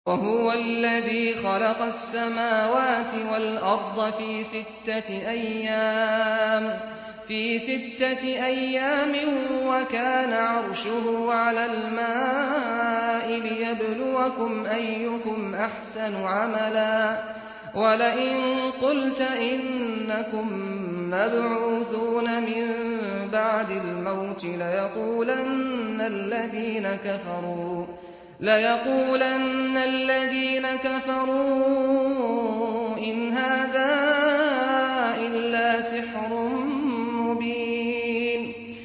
وَهُوَ الَّذِي خَلَقَ السَّمَاوَاتِ وَالْأَرْضَ فِي سِتَّةِ أَيَّامٍ وَكَانَ عَرْشُهُ عَلَى الْمَاءِ لِيَبْلُوَكُمْ أَيُّكُمْ أَحْسَنُ عَمَلًا ۗ وَلَئِن قُلْتَ إِنَّكُم مَّبْعُوثُونَ مِن بَعْدِ الْمَوْتِ لَيَقُولَنَّ الَّذِينَ كَفَرُوا إِنْ هَٰذَا إِلَّا سِحْرٌ مُّبِينٌ